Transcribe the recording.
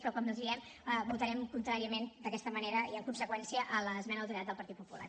però com els hi diem votarem contràriament d’aquesta manera i en conseqüència a l’esmena a la totalitat del partit popular